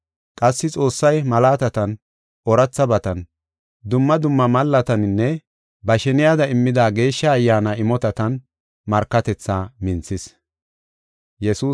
Qassi Xoossay malaatatan, oorathabatan, dumma dumma mallataninne ba sheniyada immida Geeshsha Ayyaana imotatan markatethaa minthis.